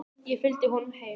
Ég fylgdi honum heim.